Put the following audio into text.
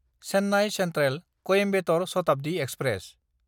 Chennai सेन्ट्रेल–कॊइम्बेटर Shatabdi express